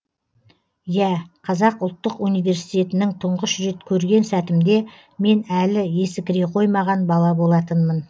иә қазақ ұлттық университетінің тұңғыш рет көрген сәтімде мен әлі есі кіре қоймаған бала болатынмын